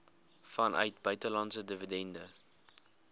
vanuit buitelandse dividende